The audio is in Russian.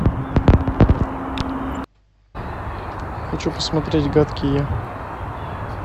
хочу посмотреть гадкий я